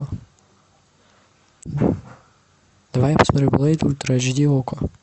давай я посмотрю блэйд ультра айч ди окко